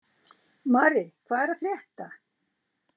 Mari, hvað er að frétta?